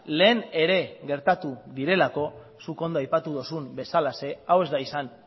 lehen ere gertatu direlako zuk ondo aipatu dozun bezalaxe hau ez da izan